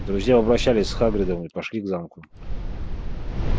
друзья попрощались с хагридом и пошли к замку